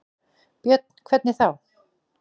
Björn: Hvernig þá?